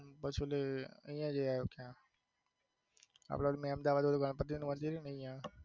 પછી ઓલું અહીંયા આપડે મેંમદાવાદ ગણપતિ નું છે ત્યાં.